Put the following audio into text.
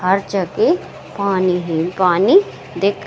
हर जगह पानी है पानी देख --